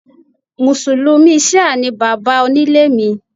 Mùsùlùmí ṣíà ni baba onílé mi